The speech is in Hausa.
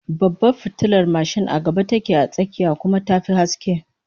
Babbar fitilar mashin a gaba take a tsakiyar, kuma ta fi haske